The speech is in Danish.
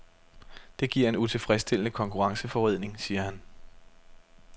Det giver en utilfredsstillende konkurrenceforvridning, siger han.